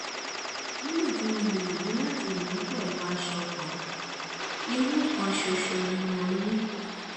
nígbà tí mo gbìyànjú láti ́nu pẹ̀lú aṣọ kan irun kan ṣoṣo ni mo rí